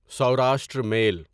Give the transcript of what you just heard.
Saurashtra میل